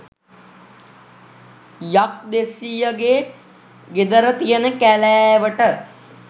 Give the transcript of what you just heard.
යක්දෙස්සියගේ ගෙදර තියන කැලෑවට.